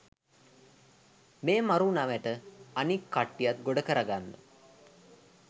මේ මරු නැවට අනික් කට්ටියත් ගොඩ කරගන්න